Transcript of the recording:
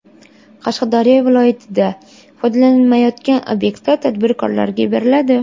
Qashqadaryo viloyatida foydalanilmayotgan obyektlar tadbirkorlarga beriladi.